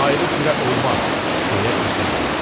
Ayrı cürə olmaz, deyə düşündü.